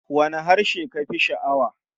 Wane harshe ka fi sha'awa?